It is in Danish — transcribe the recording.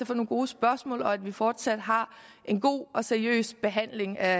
få nogle gode spørgsmål og til at vi fortsat har en god og seriøs behandling af